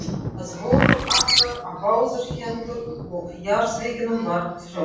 Það voru akrar á báðar hendur og jarðvegurinn var frjósamur.